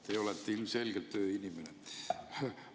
Te olete ilmselgelt ööinimene.